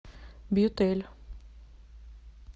бьютэлль